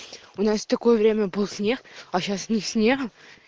у нас такое время был снег а сейчас ни снега